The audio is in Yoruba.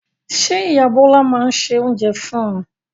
Ṣé ìyá Bọlá máa ń se oúnjẹ fún un?